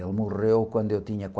Ele morreu quando eu tinha